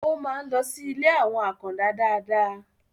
ó ń máa ń lọ sí ilé àwọn àkàndá dáadáa